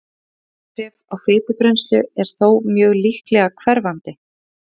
bein áhrif á fitubrennslu eru þó mjög líklega hverfandi